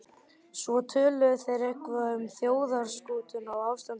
Svo töluðu þeir eitthvað um þjóðarskútuna og ástandið í